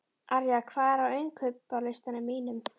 Arja, hvað er á innkaupalistanum mínum?